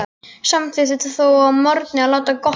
Samþykkti þó að morgni að láta gott heita.